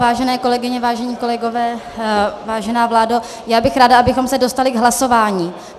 Vážené kolegyně, vážení kolegové, vážená vládo, já bych ráda, abychom se dostali k hlasování.